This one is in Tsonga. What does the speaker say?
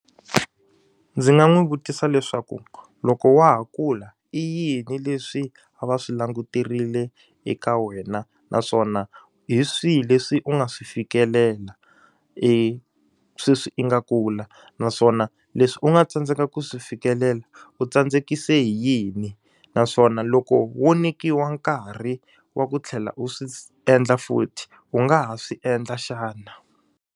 Ndzi nga n'wi vutisa leswaku loko wa ha kula i yini leswi a va swi languterile eka wena? Naswona hi swihi leswi u nga swi fikelela sweswi i nga kula? Naswona leswi u nga tsandzeka ku swi fikelela, u tsandzekise hi yini? Naswona loko wo nyikiwa nkarhi wa ku tlhela u swi endla futhi, u nga ha swi endla xana?